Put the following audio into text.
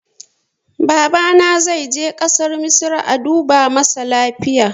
Babana zai je ƙasar misra a duba masa zuciyarsa